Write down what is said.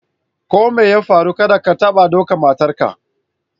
Ko mai ya farru, kadda ka taɓa ɗukan matan ka!